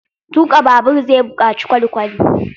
Tuƙa babur zai buƙaci kwalkwali.